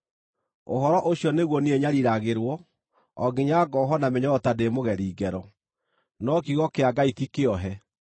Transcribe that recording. Ũhoro ũcio nĩguo niĩ nyariiragĩrwo o nginya ngohwo na mĩnyororo ta ndĩ mũgeri ngero. No kiugo kĩa Ngai ti kĩohe.